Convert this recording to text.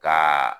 Ka